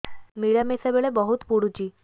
ମିଳାମିଶା ବେଳେ ବହୁତ ପୁଡୁଚି